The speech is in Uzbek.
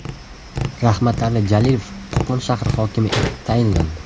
Rahmatali Jalilov Qo‘qon shahri hokimi etib tayinlandi.